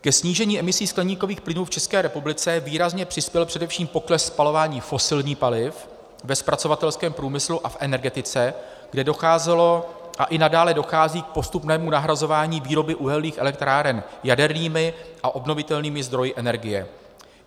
Ke snížení emisí skleníkových plynů v České republice výrazně přispěl především pokles spalování fosilních paliv ve zpracovatelském průmyslu a v energetice, kde docházelo a i nadále dochází k postupnému nahrazování výroby uhelných elektráren jadernými a obnovitelnými zdroji energie.